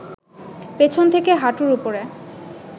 পেছন থেকে হাঁটুর উপরে